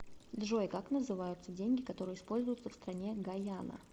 джой как называются деньги которые используются в стране гайана